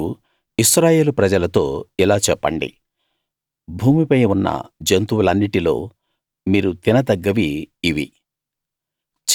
మీరు ఇశ్రాయేలు ప్రజలతో ఇలా చెప్పండి భూమి పై ఉన్న జంతువులన్నిటిలో మీరు తినదగ్గవి ఇవి